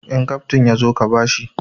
In kaftin ya zo ka ba shi!